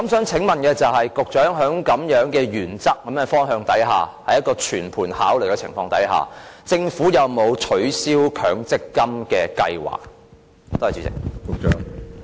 請問局長在這樣的原則和方向下，在一個全盤考慮的情況下，政府有沒有取消強積金的計劃？